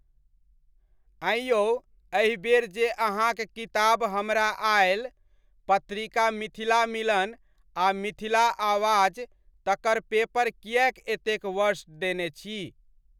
ऐं यौ एहिबेर जे अहाँक किताब हमरा आयल, पत्रिका मिथिला मिलन आ मिथिला आवाज़ तकर पेपर किएक एतेक वर्स्ट देने छी?